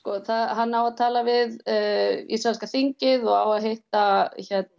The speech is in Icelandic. hann á að tala við ísraelska þingið og á að hitta